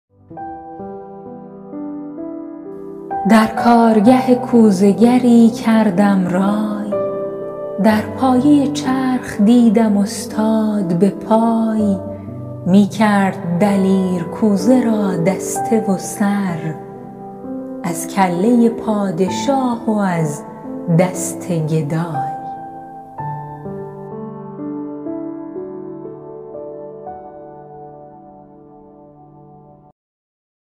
در کارگه کوزه گری کردم رای در پایه چرخ دیدم استاد به پای می کرد دلیر کوزه را دسته و سر از کله پادشاه و از دست گدای